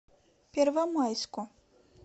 первомайску